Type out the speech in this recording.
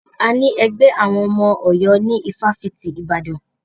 A ní ẹgbẹ́ àwọn ọmọ Ọ̀yọ́ ní ifáfitì Ibadan.